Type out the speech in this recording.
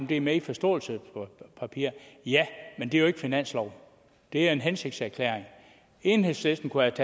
det er med i forståelsespapiret men det er jo ikke finanslov det er en hensigtserklæring enhedslisten kunne